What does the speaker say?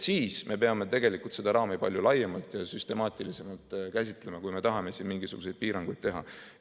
Siis me peame seda raami palju laiemalt, süstemaatilisemalt käsitlema, kui me tahame siin mingisuguseid piiranguid teha.